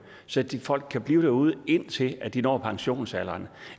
så folk kan blive derude indtil de når pensionsalderen